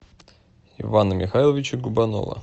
ивана михайловича губанова